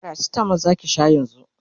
paracetamol Zaki Sha yanzun?